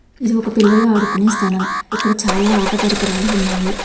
ఇది ఒక పిల్లలు ఆడుకునే స్థలం. ఇక్కడ చాలా ఆట పరికరాలు ఉన్నాయి.